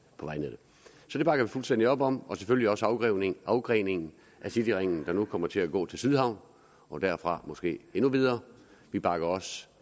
på vejnettet så det bakker vi fuldstændig op om det selvfølgelig også afgreningen afgreningen af cityringen der nu kommer til at gå til sydhavnen og derfra måske endnu videre vi bakker også